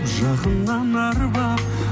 жақыннан арбап